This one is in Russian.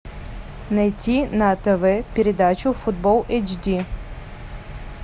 найти на тв передачу футбол эйч ди